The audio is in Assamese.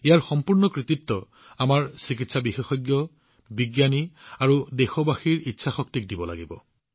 ইয়াৰ সম্পূৰ্ণ কৃতিত্ব আমাৰ চিকিৎসা বিশেষজ্ঞ বিজ্ঞানী আৰু দেশবাসীৰ ইচ্ছাশক্তিলৈ যায়